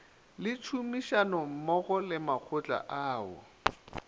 le tšhomišanommogo le makgotla ao